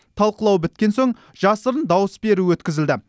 талқылау біткен соң жасырын дауыс беру өткізілді